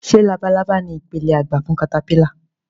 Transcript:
Ṣé labalábá ni ipele àgbà fún katapílà